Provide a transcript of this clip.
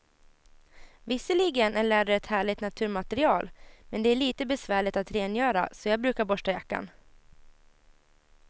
Visserligen är läder ett härligt naturmaterial, men det är lite besvärligt att rengöra, så jag brukar borsta jackan.